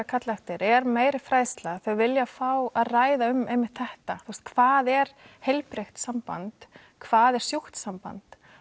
kalla eftir er meiri fræðsla þau vilja fá að ræða um einmitt þetta hvað er heilbrigt samband hvað er sjúkt samband